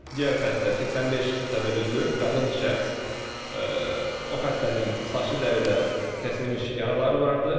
Digər xəstə 85 təvəllüdlü qadın şəxs o xəstənin saçlı dəridə kəsilmiş yaraları vardı.